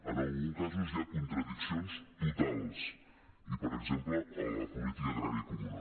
en alguns casos hi ha contradiccions totals per exemple a la política agrària comuna